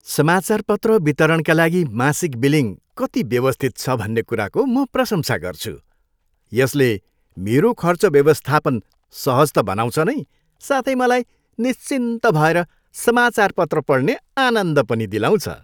समाचारपत्र वितरणका लागि मासिक बिलिङ कति व्यवस्थित छ भन्ने कुराको म प्रशंसा गर्छु। यसले मेरो खर्च व्यवस्थापन सहज त बनाउँछ नै साथै मलाई निश्चिन्त भएर समाचारपत्र पढ्ने आनन्द पनि दिलाउँछ।